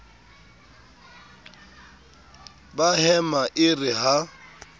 ba hema e re ha